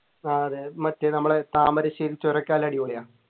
ആഹ് അതെ മറ്റേ നമ്മളെ താമരശ്ശേരി ചുരം ഒക്കെ നല്ല അടിപൊളിയാ